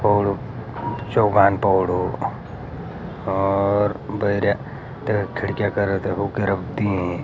पौडो चौगान पौडो और भैर्या त खिड़कियाँ करत ।